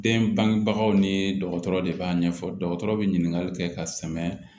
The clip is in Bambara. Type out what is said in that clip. Den bangebagaw ni dɔgɔtɔrɔ de b'a ɲɛfɔ dɔgɔtɔrɔ bɛ ɲininkali kɛ ka sɛmɛ